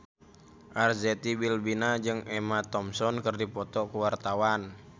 Arzetti Bilbina jeung Emma Thompson keur dipoto ku wartawan